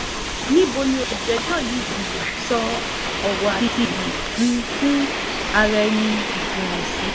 níbo ni olùjẹ́jọ́ yìí um sọ owó àti iyì um ara-ẹni jùnú sí